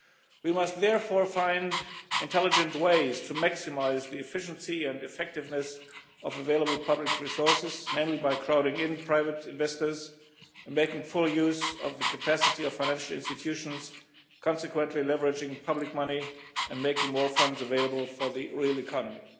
We must therefore find intelligent ways to maximise the efficiency and effectiveness of available public resources, namely by crowding in private investors and making full use of the capacity of financial institutions, consequently leveraging public money and making more funds available for the real economy.